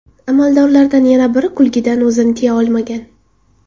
Amaldorlardan yana biri kulgidan o‘zini tiya olmagan.